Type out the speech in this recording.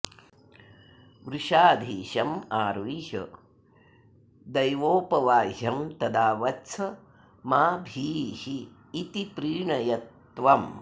वृषाधीशमारुह्य देवौपवाह्यं तदा वत्स मा भीरिति प्रीणय त्वम्